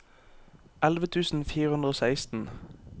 elleve tusen fire hundre og seksten